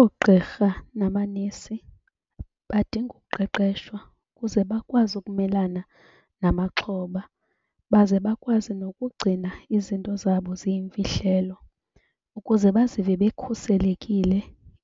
Oogqirha namanesi badinga uqeqeshwa kuze bakwazi ukumelana namaxhoba baze bakwazi nokugcina izinto zabo ziyimfihlelo ukuze bazive bekhuselekile